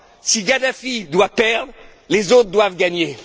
Si Kadhafi doit perdre, les autres doivent gagner.